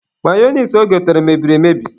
Mayonise o gotere, mebiri emebi.